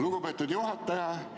Lugupeetud juhataja!